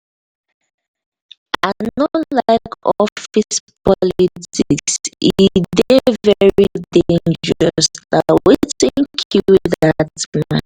i no like office politics e dey very dangerous na wetin kill dat man.